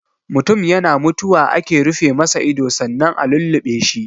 Mutun yana mutuwa ake rufe masa ido sannan a lulluɓe shi.